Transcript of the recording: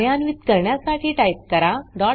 कार्यान्वीत करण्यासाठी टाइप करा struct